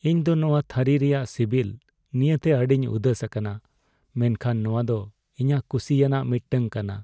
ᱤᱧ ᱫᱚ ᱱᱚᱣᱟ ᱛᱷᱟᱹᱨᱤ ᱨᱮᱭᱟᱜ ᱥᱤᱵᱤᱞ ᱱᱤᱭᱟᱹᱛᱮ ᱟᱹᱰᱤᱧ ᱩᱫᱟᱹᱥ ᱟᱠᱟᱱᱟ ᱢᱮᱱᱠᱷᱟᱱ ᱱᱚᱣᱟ ᱫᱚ ᱤᱧᱟᱜ ᱠᱩᱥᱤᱭᱟᱱᱟᱜ ᱢᱤᱫᱴᱟᱝ ᱠᱟᱱᱟ ᱾